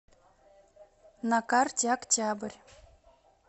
на карте октябрь